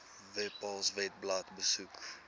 webpals webblad besoek